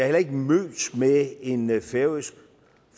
heller ikke mødt med en færøsk